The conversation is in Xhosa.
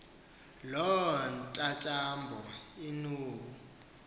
loo ntyantyambo inbulu